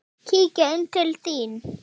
Kíkjum inn til þín